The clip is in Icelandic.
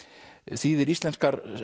þýðir íslenskar